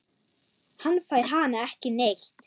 Hann fær hana ekki neitt!